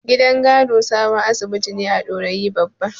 Gidan Kano sabon asibiti ne a Dorayi Babba.